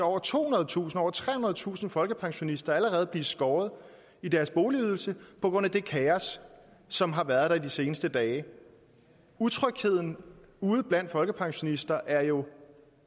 over tohundredetusind eller over trehundredetusind folkepensionister allerede blive skåret i deres boligydelse på grund af det kaos som har været der i de seneste dage utrygheden ude blandt folkepensionister er jo